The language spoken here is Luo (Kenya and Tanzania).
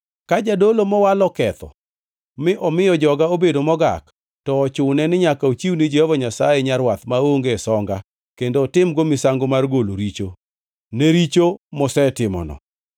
“ ‘Ka jadolo mowal oketho mi omiyo joga obedo mogak, to ochune ni nyaka ochiw ni Jehova Nyasaye nyarwath maonge songa kendo otim-go misango mar golo richo, ne richo mosetimono.